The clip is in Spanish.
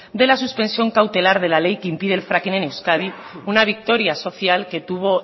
de la suspensión cautelar de la ley que impide el fracking en euskadi una victoria social que